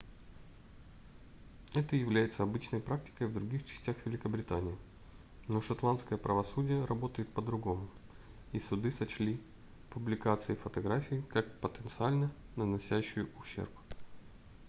это является обычной практикой в других частях великобритании но шотландское правосудие работает по-другому и суды сочли публикацию фотографий как потенциально наносящую ущерб